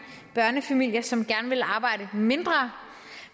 børnefamilier som gerne vil arbejde mindre